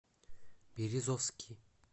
березовский